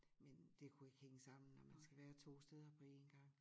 Men det kunne ikke hænge sammen når man skal være 2 steder på én gang